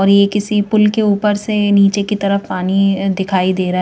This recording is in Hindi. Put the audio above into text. और यह किसी पुल के ऊपर से नीचे की तरफ पानी दिखाई दे रा--